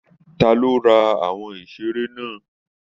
Ta ló rà àwọn iṣere náà?